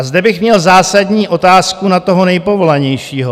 A zde bych měl zásadní otázku na toho nejpovolanějšího.